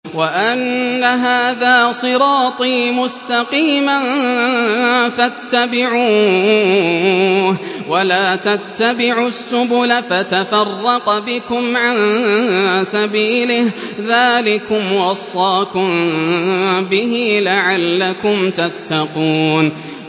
وَأَنَّ هَٰذَا صِرَاطِي مُسْتَقِيمًا فَاتَّبِعُوهُ ۖ وَلَا تَتَّبِعُوا السُّبُلَ فَتَفَرَّقَ بِكُمْ عَن سَبِيلِهِ ۚ ذَٰلِكُمْ وَصَّاكُم بِهِ لَعَلَّكُمْ تَتَّقُونَ